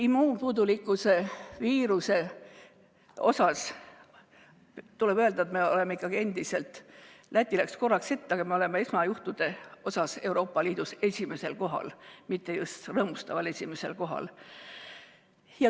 Immuunpuudulikkuse viiruse kohta tuleb öelda, et Läti läks küll korraks ette, aga me oleme ikkagi esmajuhtude poolest Euroopa Liidus esimesel kohal, mitte just rõõmustaval esimesel kohal.